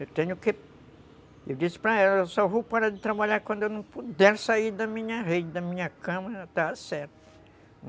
Eu tenho que... Eu disse para ela, eu só vou parar de trabalhar quando eu não puder sair da minha rede, da minha cama, está certo.